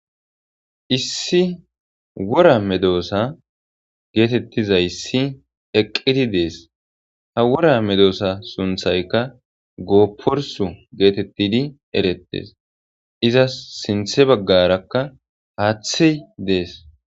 Issi wora medoosa geetettizayssi eqqidi dees ha wora medoosa sunthayka goopporsu geetettidi erettes iza sinthe baggarakka haaththey dees.